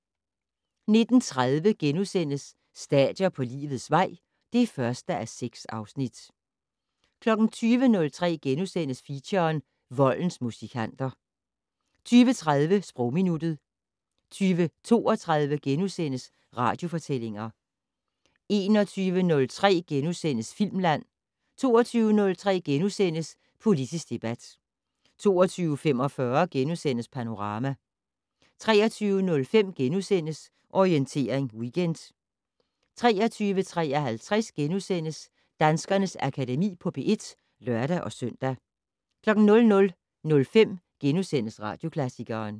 19:30: Stadier på livets vej (1:6)* 20:03: Feature: Voldens musikanter * 20:30: Sprogminuttet 20:32: Radiofortællinger * 21:03: Filmland * 22:03: Politisk debat * 22:45: Panorama * 23:05: Orientering Weekend * 23:53: Danskernes Akademi på P1 *(lør-søn) 00:05: Radioklassikeren *